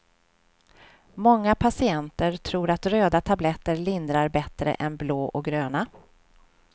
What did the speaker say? Många patienter tror att röda tabletter lindrar bättre än blå och gröna.